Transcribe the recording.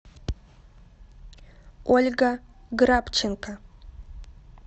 ольга грабченко